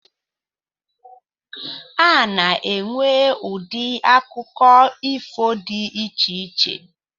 A na-enwe ụdị akụkọ ifo di icheiche